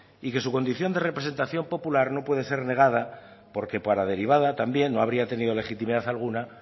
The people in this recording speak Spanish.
y que su condición de representación popular no puede ser negada porque por la derivada también no habría tenido legitimidad alguna